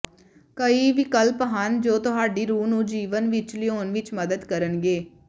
ਕਈ ਵਿਕਲਪ ਹਨ ਜੋ ਤੁਹਾਡੀ ਰੂਹ ਨੂੰ ਜੀਵਨ ਵਿਚ ਲਿਆਉਣ ਵਿਚ ਮਦਦ ਕਰਨਗੇ